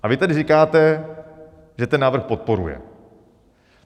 A vy tedy říkáte, že ten návrh podporuje.